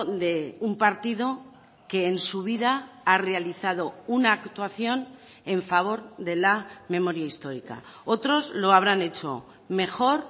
de un partido que en su vida ha realizado una actuación en favor de la memoria histórica otros lo habrán hecho mejor